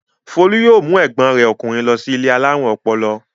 Folú yóò mú ẹ̀gbọ́n rẹ̀ ọkùnrin lọ ilé alárùn ọpọlọ.